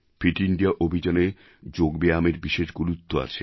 fit India অভিযানে যোগ ব্যায়ামের বিশেষ গুরুত্ব আছে